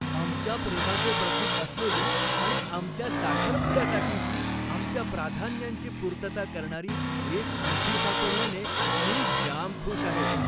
आमच्या प्रेमाचे प्रतीक असलेली आणि आमच्या साखरपुड्यासाठीची आमच्या प्राधान्यांची पूर्तता करणारी एक अंगठी सापडल्याने मी जाम खुश आहे.